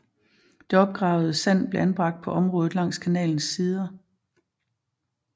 Det opgravede sand blev anbragt på området langs kanalens sider